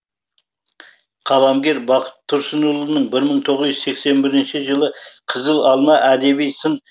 қаламгер бақыт тұрсынұлының мың тоғыз жүз сексен бірінші жылы қызыл алма әдеби сын